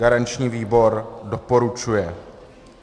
Garanční výbor doporučuje.